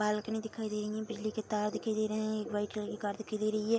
Balcony दिखाई दे रही है बिजली के तार दिखाई दे रहे हैं एक व्हाइट कलर की कार दिखाई दे रही है।